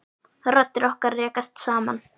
Raddir okkar rekast saman.